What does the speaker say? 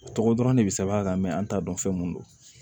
O tɔgɔ dɔrɔn de bɛ sɛbɛn a kan an t'a dɔn fɛn mun don